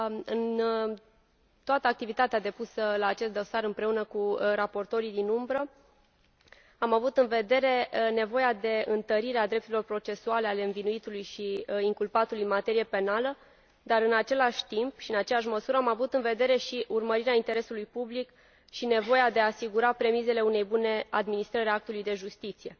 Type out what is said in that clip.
În toată activitatea depusă la acest dosar împreună cu raportorii din umbră am avut în vedere nevoia de întărire a drepturilor procesuale ale învinuitului și inculpatului în materie penală, dar, în același timp și în aceeași măsură, am avut în vedere urmărirea interesului public și nevoia de a asigura premisele unei bune adiministrări a actului de justiție.